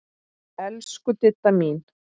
Elsku Didda mín.